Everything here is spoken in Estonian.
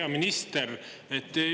Hea minister!